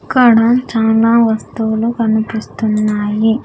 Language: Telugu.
ఇక్కడ చానా వస్తువులు కనిపిస్తున్నాయి.